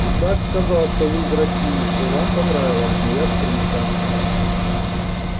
исаак сказал что вы из россии и что вам понравилась моя скрипка